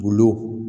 Bulu